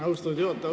Austatud juhataja!